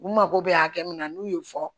U mago bɛ hakɛ min na n'u y'o fɔ